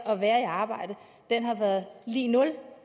og være i arbejde har været lig nul